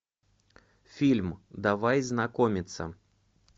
фильм давай знакомиться